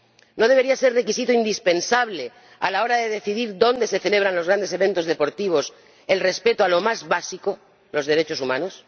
¿No debería ser requisito indispensable, a la hora de decidir dónde se celebran los grandes eventos deportivos, el respeto a lo más básico los derechos humanos?